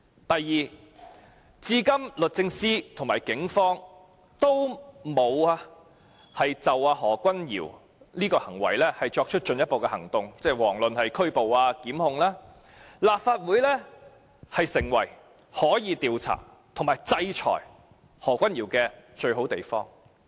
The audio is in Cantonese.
第二，律政司和警方至今仍未就何君堯議員的行為採取進一步行動，遑論拘捕或檢控，所以立法會便成為可以調查和制裁何君堯議員的最佳地方。